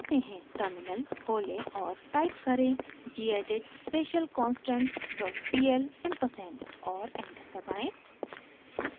terminal खोलें और type करें: gedit specialconstant dot pl ampersand और एंटर दबाएं